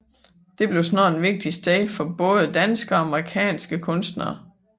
Det blev snart et vigtigt sted for både danske og amerikanske kunstnere